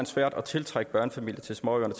svært at tiltrække børnefamilier til småøerne